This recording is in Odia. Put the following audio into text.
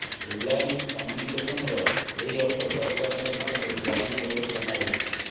ରିଲାଏନ୍ସ କମ୍ୟୁନିକେଶନର ଏହି ଅର୍ଥ ସରକାରଙ୍କ ନିକଟରେ ଗ୍ୟାରେଣ୍ଟି ଭାବରେ ଜମା ରହିଛି